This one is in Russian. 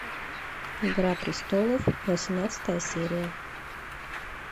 игра престолов восемнадцатая серия